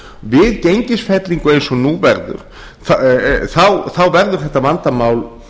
við gengisfellingu eins og nú verður verður þetta vandamál